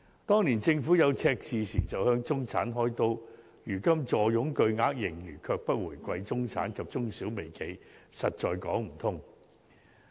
當年政府出現赤字時便向中產"開刀"，但如今坐擁巨額盈餘，卻不回饋中產及中小微企，實在說不過去。